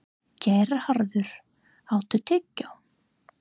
Geirharður, áttu tyggjó?